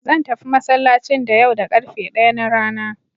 Zan tafi masallacin da yau da ƙarfe ɗaya na rana.